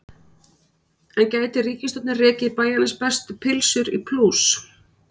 En gæti ríkisstjórnin rekið Bæjarins bestu pylsur í plús?